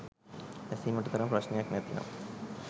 ඇසීමට තරම් ප්‍රශ්නයක් නැතිනම්